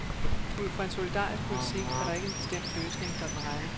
Ud fra en solidarisk politik er der ikke en bestemt løsning, der er den rette.